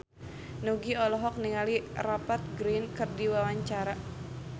Nugie olohok ningali Rupert Grin keur diwawancara